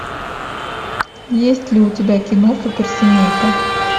есть ли у тебя кино суперсемейка